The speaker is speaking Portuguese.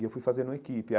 E eu fui fazer no equipe.